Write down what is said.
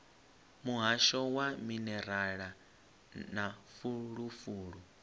muhasho wa minerala na fulufulu